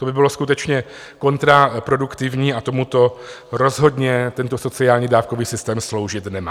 To by bylo skutečně kontraproduktivní a tomuto rozhodně tento sociální dávkový systém sloužit nemá.